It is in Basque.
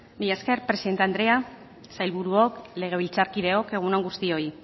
mila esker presidente andrea sailburuok legebiltzarkideok egun on guztioi